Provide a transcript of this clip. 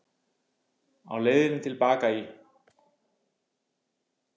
Á leiðinni til baka í